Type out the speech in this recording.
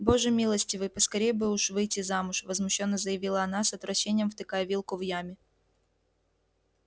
боже милостивый поскорее бы уж выйти замуж возмущённо заявила она с отвращением втыкая вилку в яме